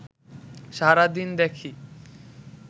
সারাদিন দেখি